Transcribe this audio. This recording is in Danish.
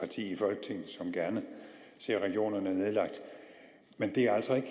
i folketinget som gerne ser regionerne nedlagt men det er altså ikke